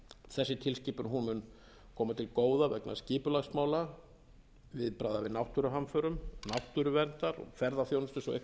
þessi tilskipun mun koma til góða vegna skipulagsmála viðbragða við náttúruhamförum náttúruverndar og ferðaþjónustu svo eitthvað